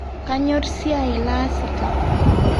Kanyor siaai laasita